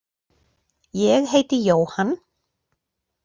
Ég heiti Jóhann.